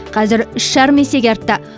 қазір үш жарым есеге артты